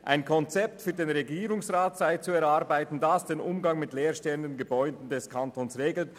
Ein Konzept sei vom Regierungsrat zu erarbeiten, das den Umgang mit leer stehenden Gebäuden des Kantons regle.